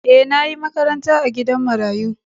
E, na yi makaranta a gidan marayu.